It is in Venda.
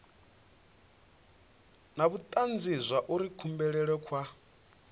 na vhutanzi zwauri kubulele kwa